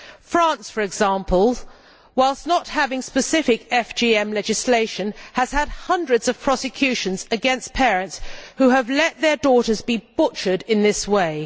France, for example, whilst not having specific FGM legislation, has had hundreds of prosecutions against parents who have let their daughters be butchered in this way.